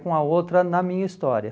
com a outra na minha história.